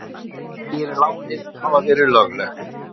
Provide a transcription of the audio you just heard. Segir lánið hafa verið löglegt